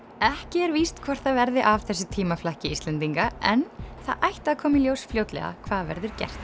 ekki er víst hvort það verði af þessu tímaflakki Íslendinga en það ætti að koma í ljós fljótlega hvað verður gert